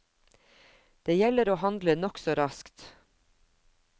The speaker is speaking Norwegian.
Det gjelder å handle nokså raskt.